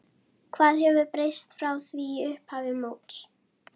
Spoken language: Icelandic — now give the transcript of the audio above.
Hvað hefur breyst frá því í upphafi móts?